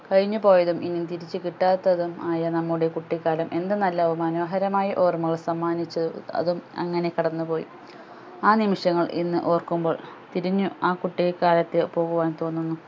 കഴിഞ്ഞു പോയതും ഇനി തിരിച്ചു കിട്ടാത്തതും ആയ നമ്മുടെ കുട്ടിക്കാലം എന്ത് നല്ല മനോഹരമായ ഓർമ്മകൾ സമ്മാനിച്ചു അതും അങ്ങനെ കടന്നു പോയി ആ നിമിശങ്ങൾ ഇന്ന് ഓർക്കുമ്പോൾ തിരിഞ്ഞു ആ കുട്ടികാലത്തെ പോകുവാൻ തോന്നുന്നു